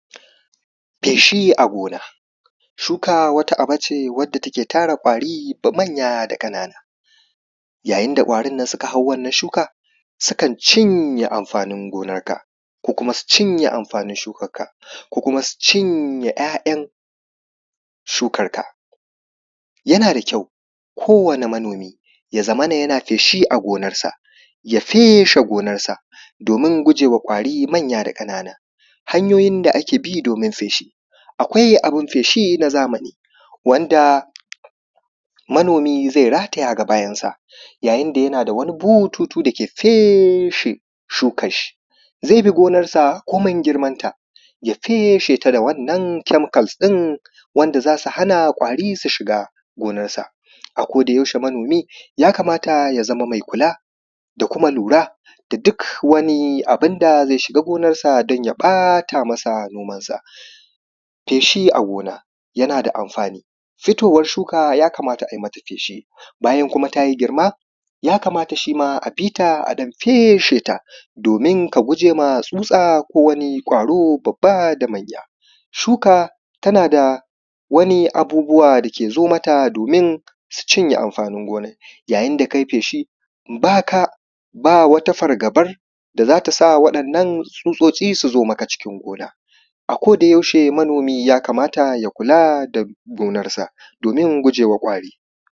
feshi a gona shuka wata aba ce wanda take tara ƙwari da manya da ƙanana yayin da ƙwarin nan suka hau wannan shuka sukan cinye amfanin gonar ka ko kuma su cinye amfanin shukanka ko kuma su cinye ɁyaɁyan shukanka yana da kyau ko wani manomi ya zamana yana feshi a gonarsa ya feshe gonarsa domin guje wa ƙwari manya da ƙanana hanyoyin da ake bi domin feshi akwai abun feshi na zamani wanda manomi zai rataya a bayansa yayin da yana da bututu da ke feshe shukan shi zai bi gonarsa komai girmansa ya feshe ta da wannan chemicals ɗin wanda za su hana ƙwari su shiga gonarsa a koda yaushe manomi ya kamata ya zama mai kula da kuma lura da duk wani abunda zai shiga gonarsa don ya ɓata masa nomansa feshi a gona yana da amfani fitowa shuka ya kamata ai mata feshi bayan kuma ta yi girma ya kamata shima a bita a ɗan feshe ta domin ka gujewa tsutsa ko wani ƙwaro babba da manya shuka tana da wani abubuwa da ke zo mata domin su cinye amfanin gonar yayin da kai feshi ba ka ba wata fargaban da za ta sa waɗannan tsutsotsi su zo maka cikin gona a koda yaushe manomi ya kamata ya kula da gonarsa domin gujewa ƙwari